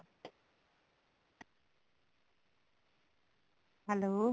hello